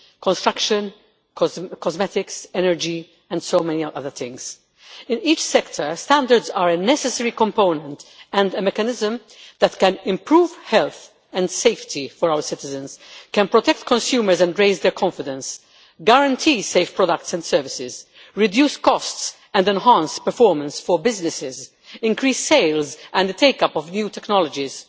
construction, cosmetics, energy and so many other things. In each sector, standards are a necessary component and a mechanism that can improve health and safety for our citizens, can protect consumers and raise their confidence, guarantee safe products and services, reduce costs and enhance performance for businesses, increase sales and the take up of new technologies,